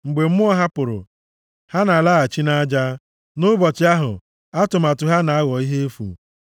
Mgbe mmụọ ha pụrụ, ha na-alaghachi nʼaja + 146:4 \+xt Ekl 12:7\+xt*; nʼụbọchị ahụ, atụmatụ ha na-aghọ ihe efu.